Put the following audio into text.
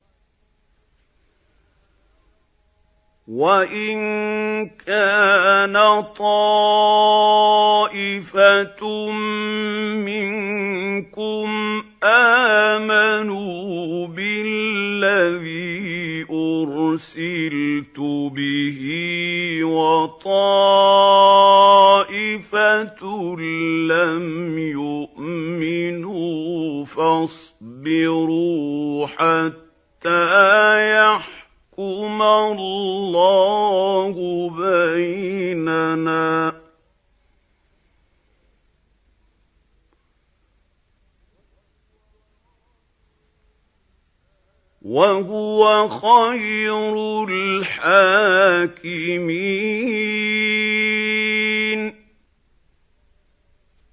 وَإِن كَانَ طَائِفَةٌ مِّنكُمْ آمَنُوا بِالَّذِي أُرْسِلْتُ بِهِ وَطَائِفَةٌ لَّمْ يُؤْمِنُوا فَاصْبِرُوا حَتَّىٰ يَحْكُمَ اللَّهُ بَيْنَنَا ۚ وَهُوَ خَيْرُ الْحَاكِمِينَ